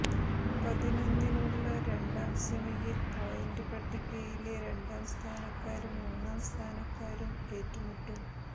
പതിനൊന്നിനുള്ള രണ്ടാം സെമിയിൽ പോയിന്റ് പട്ടികയിലെ രണ്ടാം സ്ഥാനക്കാരും മൂന്നാം സ്ഥാനക്കാരും ഏറ്റുമുട്ടും